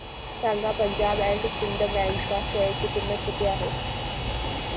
सांगा Punjab and Sind bank च्या share ची किंमत किती आहे